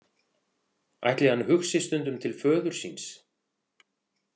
Ætli hann hugsi stundum til föður síns?